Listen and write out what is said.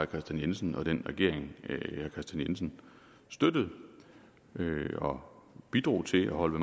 kristian jensen og den regering herre kristian jensen støttede og bidrog til at holde